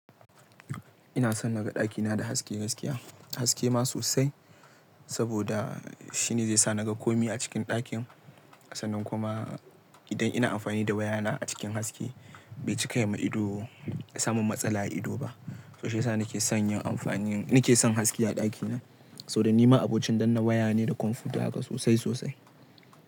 Ina son na ga ɗakina da haske gaskiya, haske ma sosai saboda shine zai sa na ga komai a cikin ɗakin. Sannan kuma idan ina amfani da wayana a cikin haske bai cika yima ido ya samun matsala a ido ba. So shi ya sa nake son yin amfani, nake son haske a ɗakina. Saboda nima abokin danna waya ne da kwamfuta haka sosai sosai.